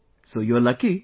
So you are lucky